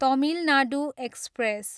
Tamil Nadu express